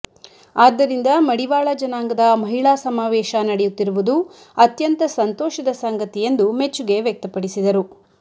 ಆದ್ದರಿಂದ ಮಡಿವಾಳ ಜನಾಂಗದ ಮಹಿಳಾ ಸಮಾವೇಶ ನಡೆಯುತ್ತಿರುವುದು ಅತ್ಯಂತ ಸಂತೋಷ ಸಂಗತಿ ಎಂದು ಮೆಚ್ಚುಗೆ ವ್ಯಕ್ತಪಡಿಸಿದರು